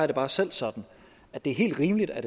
det bare selv sådan at det er helt rimeligt at